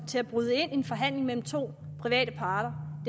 til at bryde ind i en forhandling mellem to private parter